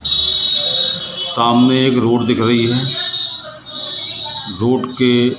सामने एक रोड दिख रही है रोड के--